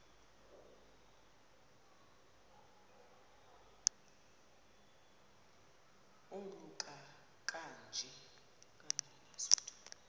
oluka ka njl